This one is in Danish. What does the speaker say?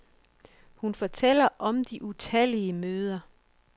Hun fortæller om de utallige møder.